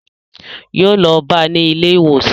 Yóò lọ bá ní ilé ìwòsàn